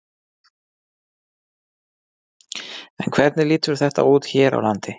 En hvernig lítur þetta út hér á landi?